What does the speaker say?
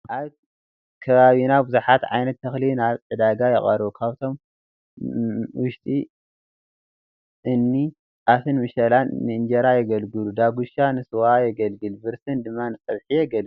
ኣብ ከባቢና ብዙሓት ዓይነት እኽሊ ናብ ዕዳጋ ይቐርቡ፡፡ ካብኣቶም ውሽጢ እኒ ጣፍን መሸላን ንእንጀራ የግልግሉ፣ ዳጉሻ ንስዋ የገልግል፣ ብርስን ድማ ንፀብሒ የግልግል፡፡